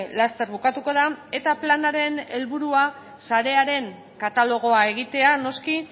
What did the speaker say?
laster bukatuko da eta planaren helburua sarearen katalogoa egitea noski